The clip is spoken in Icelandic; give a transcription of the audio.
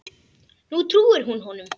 Nú trúir hún honum.